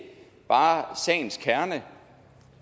bare sagens kerne